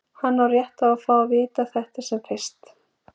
Hann á rétt á að fá að vita þetta sem fyrst.